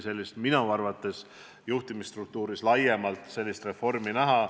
Nii et minu arvates tuleb juhtimisstruktuuris laiemalt reformivajadust näha.